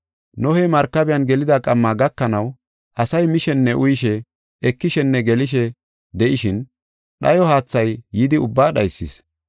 Nohey Markabiyan gelida qamma gakanaw asay mishenne uyishe, ekishenne gelishe de7ishin dhayo haathay yidi ubbaa dhaysis.